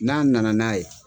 N'a na na n'a ye